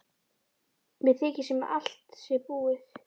Mér þykir sem allt sé búið.